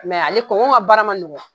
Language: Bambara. ale kɔnkɔn ka baara ma nɔngɔn.